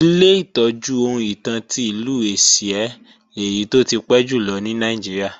Ilé ìtọ́jú ohun ìtàn ti Ìlú Ẹ̀sìẹ́ lèyí tó ti pẹ́ jùlọ ní Nàìjíríà